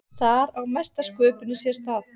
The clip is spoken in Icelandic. Þar á mesta sköpunin sér stað.